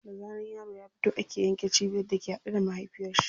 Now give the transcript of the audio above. Da zaran yaro ya fito ake yanke cibiyar da ke haɗe da mahaifiyar shi.